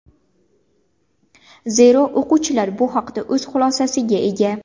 Zero, o‘quvchilar bu haqda o‘z xulosasiga ega.